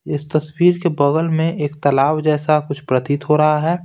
इस तस्वीर के बगल में एक तालाब जैसा कुछ प्रतीत हो रहा है।